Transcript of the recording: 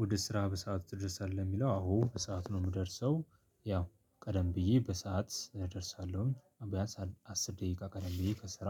ወደ ስራ በሰአቱ ትደርሳለህ የሚለው አዎ በሰአቱ ነው የምደርሰው ያው ቀደም ብዬ በሰአት እደርሳለሁ ብያንስ አስር ደቂቃ ቀደም ብዬ ከስራ